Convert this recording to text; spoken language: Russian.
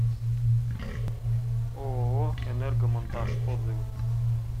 ооо энергомонтаж отзывы